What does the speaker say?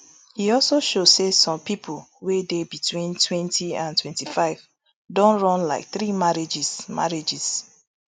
e also show say some pipo wey dey between twenty and twenty-five don run like three marriages marriages